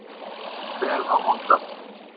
Það kemur vel á vondan.